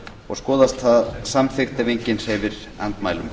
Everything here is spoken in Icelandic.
og skoðast það samþykkt ef enginn hreyfir andmælum